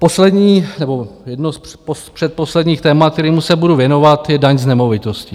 Poslední nebo jedno z předposledních témat, kterému se budu věnovat, je daň z nemovitosti.